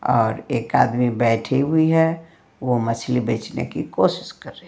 और एक आदमी बैठी हुई है वो मछली बेचने की कोशिश कर रही है।